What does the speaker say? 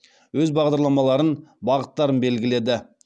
өз бағдарламаларын бағыттарын белгіледі